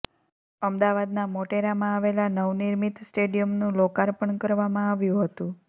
અમદાવાદના મોટેરામાં આવેલા નવનિર્મિત સ્ટેડીયમનું લોકાર્પણ કરવામાં આવ્યુ હતુ